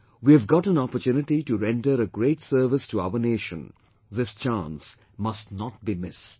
We have got an opportunity to render a great service to our nation; this chance must not be missed